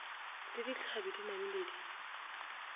le ditlhabi di namile di